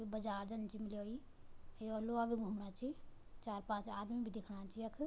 यु बाजार जन च मिल्याई यो ल्वो भी घूमणा छी चार-पांच आदिम भी दिखणा छ यख।